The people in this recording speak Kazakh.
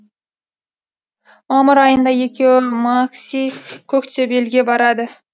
мамыр айында екеуі макси коктебелге барады